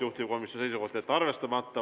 Juhtivkomisjoni seisukoht: jätta arvestamata.